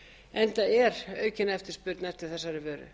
enda er aukin eftirspurn eftir þessari